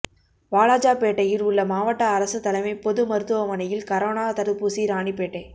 வாலாஜாப்பேட்டையில் உள்ள மாவட்ட அரசு தலைமைப் பொது மருத்துவமனையில் கரோனா தடுப்பூசியை ராணிப்பேட்டை